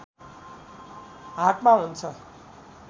हातमा हुन्छ